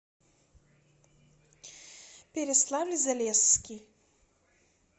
переславль залесский